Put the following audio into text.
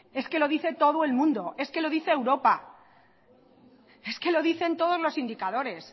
es que lo dice todo el mundo es que lo dice europa es que lo dicen todos los indicadores